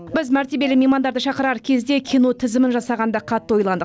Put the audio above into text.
біз мәртебелі меймандарды шақырар кезде кино тізімін жасағанда қатты ойландық